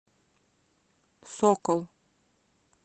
сокол